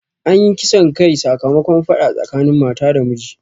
Anyi kisan kai sakamakon faɗa tsakanin mata da miji